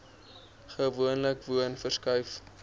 gewoonlik woon verskuif